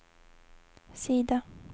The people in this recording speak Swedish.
sida